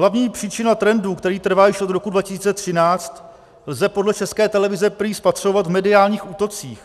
Hlavní příčina trendu, který trvá již od roku 2013, lze podle České televize prý spatřovat v mediálních útocích